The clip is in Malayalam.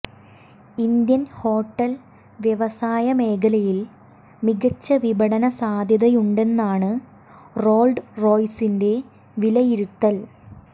ഇന്ത്യൻ ഹോട്ടൽ വ്യവസായ മേഖലയിൽ മികച്ച വിപണന സാധ്യതയുണ്ടെന്നാണു റോൾസ് റോയ്സിന്റെ വിലയിരുത്തൽ